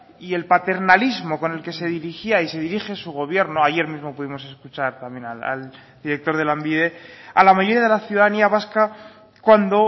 y el paternalismo con el que se dirigía y se dirige su gobierno ayer mismo pudimos escuchar también al director de lanbide a la mayoría de la ciudadanía vasca cuando